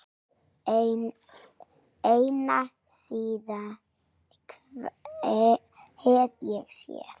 Eina sýn hef ég séð.